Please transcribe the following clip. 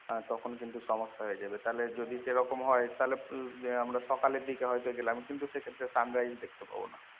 তখন কিন্তু সমস্যা হয়ে যাবে। যদি সেরকম হয় তালে আম আমরা সকালে দিকে হইতো গেলাম কিন্তু সেক্ষেত্রে sunrise দেখতে পাবো না।